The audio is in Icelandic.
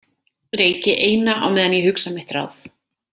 Reyki eina á meðan ég hugsa mitt ráð.